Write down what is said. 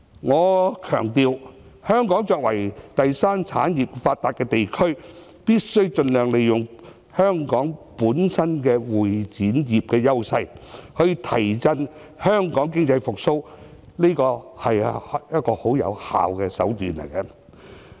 我強調，香港作為第三產業發達的地區，必須盡量利用香港本身的會展業的優勢，提振香港經濟，這是一種很有效的手段。